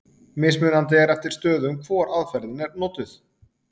mismunandi er eftir stöðum hvor aðferðin er notuð